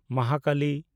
ᱢᱟᱦᱟᱠᱟᱞᱤ